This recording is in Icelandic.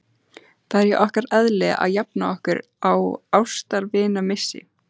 Það er í okkar eðli að jafna okkur á ástvinamissi.